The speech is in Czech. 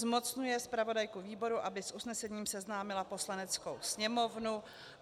Zmocňuje zpravodajku výboru, aby s usnesením seznámila Poslaneckou sněmovnu.